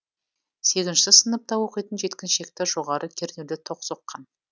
сегізінші сыныпта оқитын жеткіншекті жоғары кернеуді тоқ соққан